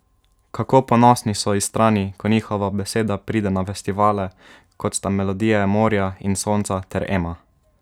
Kako ponosni so Istrani, ko njihova beseda pride na festivale, kot sta Melodije morja in sonca ter Ema?